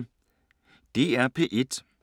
DR P1